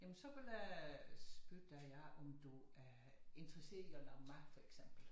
Jamen så ville jeg spørge dig om du er interesseret i at lave mad for eksempel